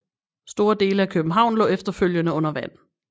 Store dele af København lå efterfølgende under vand